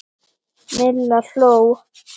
Milla hló.